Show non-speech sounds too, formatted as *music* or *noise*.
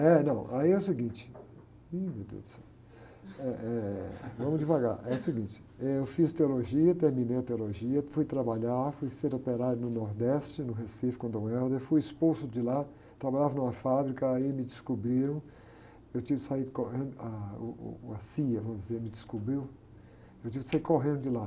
É, não, aí é o seguinte, ih, meu deus do céu, eh, eh, vamos devagar, é o seguinte, eu fiz teologia, terminei a teologia, fui trabalhar, fui ser operário no Nordeste, no Recife, com o Dom, *unintelligible* fui expulso de lá, trabalhava numa fábrica, aí me descobriram, eu tive que sair correndo, ah, uh, uh, a cía, vamos dizer, me descobriu, eu tive que sair correndo de lá.